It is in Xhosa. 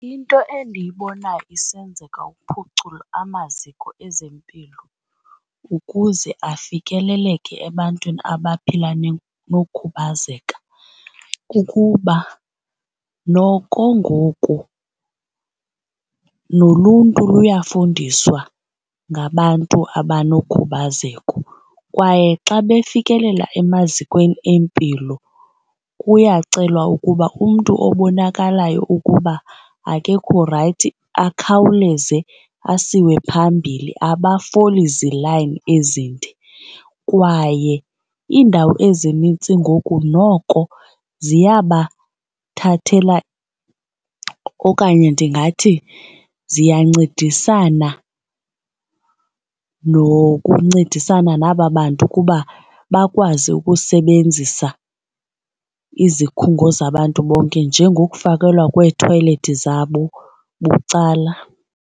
Into endiyibona isenzeka ukuphucula amaziko ezempilo ukuze afikeleleke ebantwini abaphila nokhubazeka kukuba noko ngoku noluntu luyafundiswa ngabantu abanokhubazeko kwaye xa befikelela emazikweni empilo kuyacelwa ukuba umntu obonakalayo ukuba akekho rayithi akhawuleze asiwe phambili, abafoli zilayini ezinde. Kwaye iindawo ezinintsi ngoku noko ziyabathathela okanye ndingathi ziyancedisana nokuncedisana naba bantu ukuba bakwazi ukusebenzisa izikhungo zabantu bonke njengokufakelwa kweethoyilethi zabo bucala.